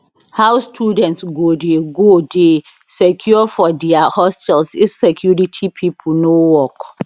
how students go dey go dey secure for dia hostels if security pipo no work